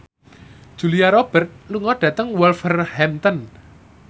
Julia Robert lunga dhateng Wolverhampton